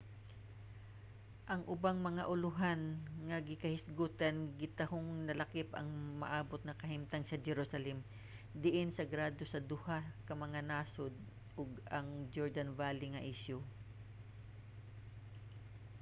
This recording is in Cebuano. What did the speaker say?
ang ubang mga ulohan nga ginahisgotan gitahong nalakip ang umaabot nga kahimtang sa jerusalem diin sagrado sa duha ka mga nasod ug ang jordan valley nga isyu